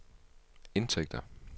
indtægter